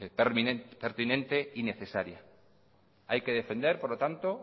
pertinente y necesaria hay que defender por lo tanto